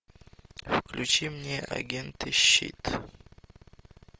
включи мне агенты щит